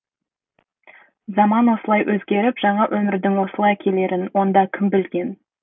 заман осылай өзгеріп жаңа өмірдің осылай келерін онда кім білген